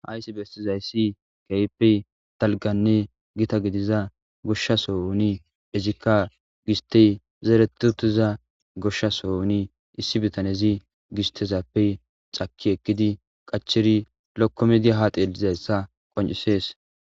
Hayssi bestizayssi gaype talganne gita gidiza goshshaso uni ezikka gisti zeeretutiza goshshaso huni issi bitanezi gistezappe xaki ekkidi qacheri lokko medi haatelizayssa qoncisees.